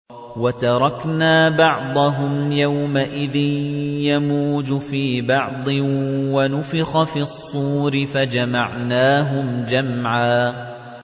۞ وَتَرَكْنَا بَعْضَهُمْ يَوْمَئِذٍ يَمُوجُ فِي بَعْضٍ ۖ وَنُفِخَ فِي الصُّورِ فَجَمَعْنَاهُمْ جَمْعًا